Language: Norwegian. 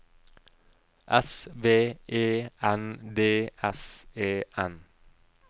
S V E N D S E N